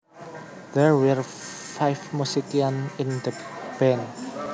There were five musicians in the band